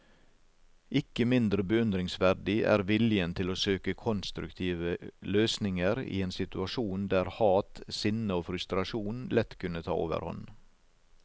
Ikke mindre beundringsverdig er viljen til å søke konstruktive løsninger i en situasjon der hat, sinne og frustrasjon lett kunne ta overhånd.